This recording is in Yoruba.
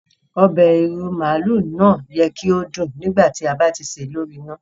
Obẹ̀ ìrú màálú náà yẹ ki o dún nígbàtí o ba ti ṣè lori ina.